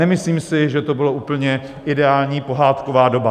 Nemyslím si, že to byla úplně ideální pohádková doba.